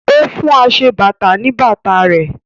O fún aṣebàtà ní bàtà rẹ̀